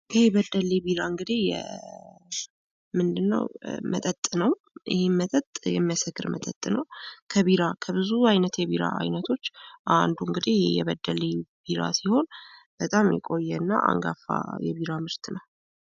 ይህ በደሌ ቢራ እንግዲህ ምንድን ነው መጠጥ ነው። ይህም መጠጥ የሚያሰክር መጠጥ ነው። ከብዙ አይነት የቢራ አይነቶች አንዱ እንግዲህ የበደሌ ቢራ ነው። በጣም የቆየ እና አንጋፋ የቢራ ምርት ነው።